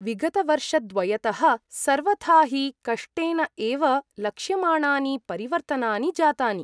विगतवर्षद्वयतः सर्वथा हि कष्टेन एव लक्ष्यमाणानि परिवर्तनानि जातानि ।